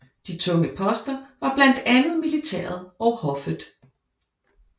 De tunge poster var blandt andet militæret og hoffet